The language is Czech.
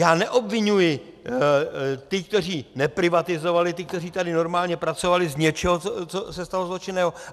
Já neobviňuji ty, kteří neprivatizovali, ty, kteří tady normálně pracovali, z něčeho, co se stalo zločinného.